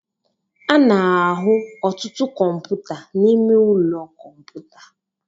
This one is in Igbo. a na-ahụ ọtụtụ kọmputa n'ime ụlọ kọmputa